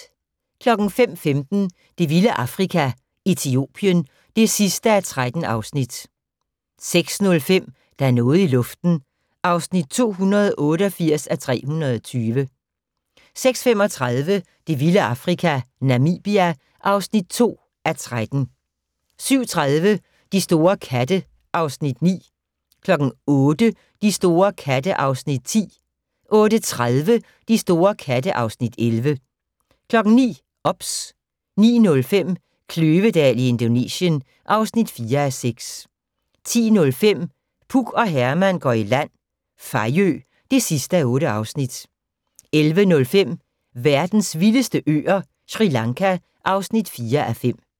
05:15: Det vilde Afrika - Etiopien (13:13) 06:05: Der er noget i luften (288:320) 06:35: Det vilde Afrika - Namibia (2:13) 07:30: De store katte (Afs. 9) 08:00: De store katte (Afs. 10) 08:30: De store katte (Afs. 11) 09:00: OBS 09:05: Kløvedal i Indonesien (4:6) 10:05: Puk og Herman går i land - Fejø (8:8) 11:05: Verdens vildeste øer - Sri Lanka (4:5)